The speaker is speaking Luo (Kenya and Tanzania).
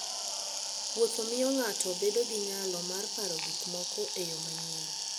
Wuotho miyo ng'ato bedo gi nyalo mar paro gik moko e yo manyien.